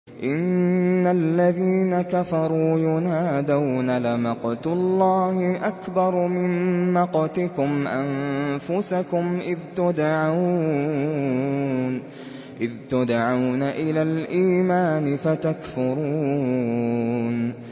إِنَّ الَّذِينَ كَفَرُوا يُنَادَوْنَ لَمَقْتُ اللَّهِ أَكْبَرُ مِن مَّقْتِكُمْ أَنفُسَكُمْ إِذْ تُدْعَوْنَ إِلَى الْإِيمَانِ فَتَكْفُرُونَ